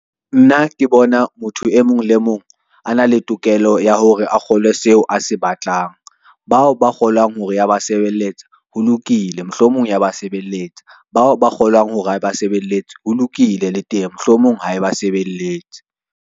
Nna ke bona motho e mong le mong a na le tokelo ya hore a kgolwe seo a se batlang. Bao ba kgolang hore ya ba sebeletsa ho lokile, mohlomong ya ba sebeletsa batho bao ba kgolang hore ha e ba sebelletse ho lokile le teng, mohlomong ha eba sebelletse.